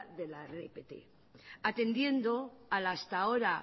de la atendiendo al hasta ahora